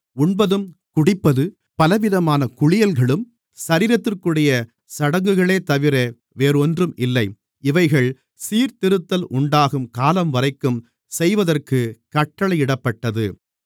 உண்பதும் குடிப்பது பலவிதமான குளியல்களும் சரீரத்திற்குரிய சடங்குகளேதவிர வேறோன்றும் இல்லை இவைகள் சீர்திருத்தல் உண்டாகும் காலம்வரைக்கும் செய்வதற்கு கட்டளையிடப்பட்டது